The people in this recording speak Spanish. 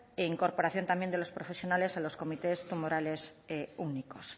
incorporación también de los profesionales en los comités tumorales únicos